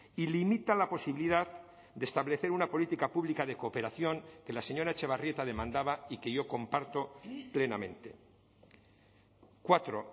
y limita la posibilidad de establecer una política pública de cooperación que la señora etxebarrieta demandaba y que yo comparto plenamente cuatro